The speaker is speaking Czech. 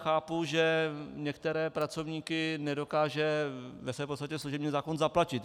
Chápu, že některé pracovníky nedokáže ve své podstatě služební zákon zaplatit.